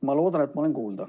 Ma loodan, et ma olen kuulda.